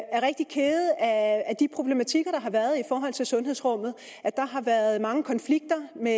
er rigtig kede af de problematikker der har været i forhold til sundhedsrummet der har været mange konflikter med